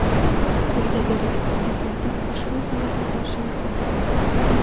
Quyida beriladigan suratlarda ushbu holatni ko‘rishingiz mumkin.